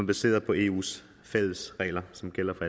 baseret på eus fælles regler som gælder for